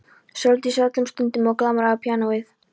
Sóldísi öllum stundum og glamraði á píanóið.